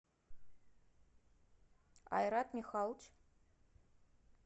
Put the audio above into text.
айрат михайлович